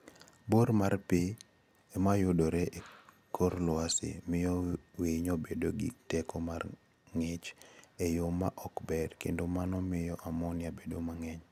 Bor mar pi ma yudore e kor lwasi miyo winyo bedo gi teko mar ng'ich e yo ma ok ber kendo mano miyo ammonia bedo mang'eny.